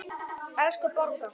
Elsku Borga!